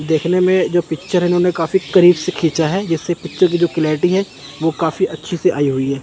देखने में जो पिक्चर इन्होंने काफी करीब से खींचा है जिससे पिक्चर की जो क्वालिटी है वो काफी अच्छी से आई हुई है।